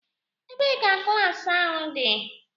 Ebee ka klaasị ahu dị?